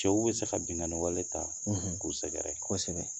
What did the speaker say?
Cɛw bi se ka binganiwale ta k'u sɛgɛrɛ, kosɛbɛ.